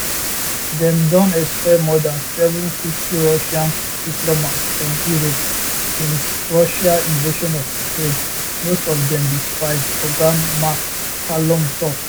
dem don expel more dan 750 russian diplomats from europe since russia invasion of ukraine most of dem be spies oga mccallum tok